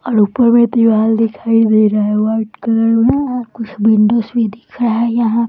और ऊपर में दीवाल दिखाई दे रहा है वाइट कलर में यहाँ कुछ विंडोज भी दिख रहा है यहाँ --